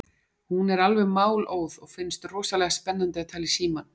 Hún er alveg málóð og finnst rosalega spennandi að tala í símann.